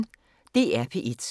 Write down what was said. DR P1